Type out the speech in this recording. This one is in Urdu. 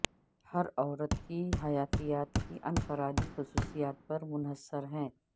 ہر عورت کی حیاتیات کی انفرادی خصوصیات پر منحصر ہے